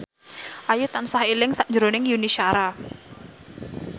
Ayu tansah eling sakjroning Yuni Shara